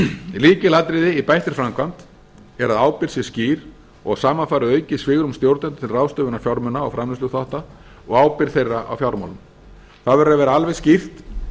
lykilatriði í bættri framkvæmd er að ábyrgð sé skýr og að saman fari aukið svigrúm stjórnenda til ráðstöfunar fjármuna og framleiðsluþátta og ábyrgð þeirra á fjármálum það verður að vera alveg skýrt